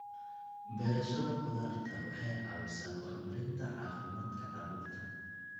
Beerashada khudaarta waxay caawisaa horumarinta caafimaadka carruurta.